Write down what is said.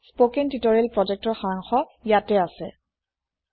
spoken tutorial ইয়াতে সমাপ্ত হল